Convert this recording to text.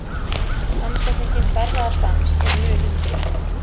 Samsetningin darraðardans er mun yngri.